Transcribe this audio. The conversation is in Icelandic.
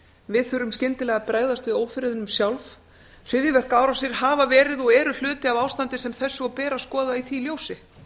við þurfum skyndilega að bregðast við ófriðinum sjálf hryðjuverkaárásir hafa verið og eru hluti af ástandi sem þessu og ber að skoða í því ljósi